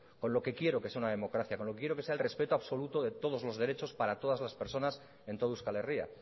con lo que quiero que es una democracia con lo que quiero que sea el respeto absoluto de todos los derechos para todas las personas en todo euskal herria